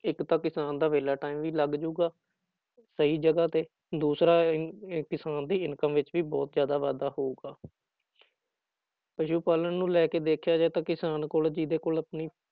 ਇੱਕ ਤਾਂ ਕਿਸਾਨ ਦਾ ਵਿਹਲਾ time ਵੀ ਲੱਗ ਜਾਊਗਾ, ਸਹੀ ਜਗ੍ਹਾ ਤੇ ਦੂਸਰਾ ਇਹ ਇਹ ਕਿਸਾਨ ਦੀ ਇਨਕਮ ਵਿੱਚ ਵੀ ਬਹੁਤ ਜ਼ਿਆਦਾ ਵਾਧਾ ਹੋਊਗਾ ਪਸੂ ਪਾਲਣ ਨੂੰ ਲੈ ਕੇ ਦੇਖਿਆ ਜਾਏ ਤਾਂ ਕਿਸਾਨ ਕੋਲ ਜਿਹਦੇ ਕੋਲ ਆਪਣੀ